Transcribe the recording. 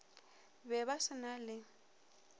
be ba se na le